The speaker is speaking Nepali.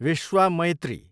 विश्वामैत्री